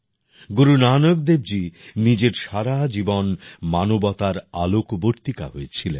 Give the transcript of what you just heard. গুরু নানক দেবজী নিজের সারা জীবন মানবতার আলোকবর্তিকা হয়ে ছিলেন